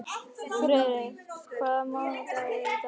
Friðey, hvaða mánaðardagur er í dag?